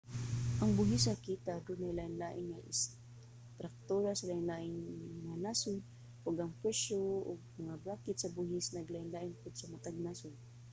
ang buhis sa kita adunay lain-lain nga istruktura sa lain-lain nga nasod ug ang presyo ug mga bracket sa buhis naglain-lain pod sa matag nasod